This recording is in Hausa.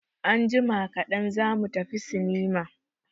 Anjima kaɗan za mu tafi sinima.